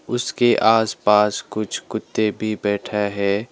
उसके आस पास कुछ कुत्ते भी बैठा है।